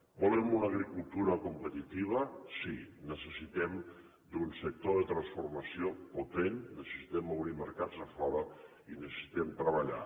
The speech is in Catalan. volem una agricultura competitiva sí necessitem un sector de transformació potent necessitem obrir mercats a fora i necessitem treballar